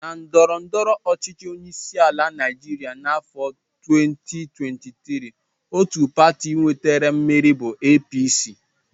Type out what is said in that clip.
Na ndọrọndọrọ ọchịchị onyeisiala Naijiria n'afọ 2023, otu pati nwetara mmeri bụ APC